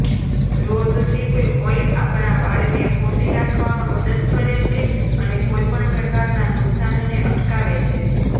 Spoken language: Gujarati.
રોઝશીપ ઓઇલ આપણા વાળને પોષી રાખવામાં મદદ કરે છે અને કોઈપણ પ્રકારના નુકસાનને અટકાવે છે